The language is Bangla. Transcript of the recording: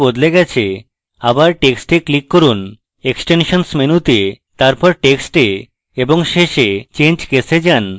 আবার টেক্সটে click করুন extensions menu তে তারপর text এ এবং শেষে change case এ যান